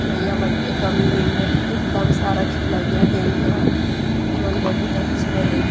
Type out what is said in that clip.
खेलाइयया मन के कमी नई हे एकदम सारा खेलाइया हे इहाँ एमन बहुत अच्छा हे।